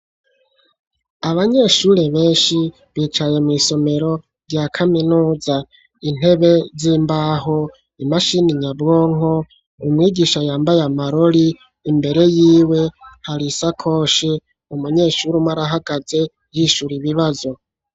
Abanyeshure benshi bicaye mw'isomero rya kaminuza, intebe z'imbaho, imashini nyabwonko, umwigisha yambaye amarori imbere yiwe hari isakoshi, umunyeshure umwe arahagaze yishura ibibazo.